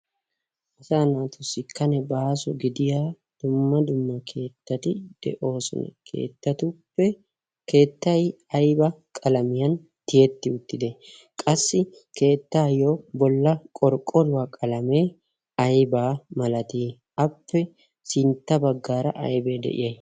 otaa naatussikkane baasu gidiya dumma dumma keettati de'oosone keettatuppe keettay ayba qalamiyan tiyetti uttite qassi keettaayyo bolla qorqqoruwaa qalamee aybaa malatii appe sintta baggaara aybee de'iya